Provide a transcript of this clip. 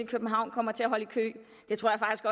københavn kommer til at holde i kø